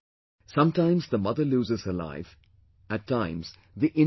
Sometimes the mother loses her life, at times the infant does